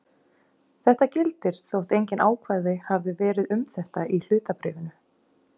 Þetta gildir þótt engin ákvæði hafi verið um þetta í hlutabréfinu.